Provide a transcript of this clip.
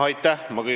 Aitäh!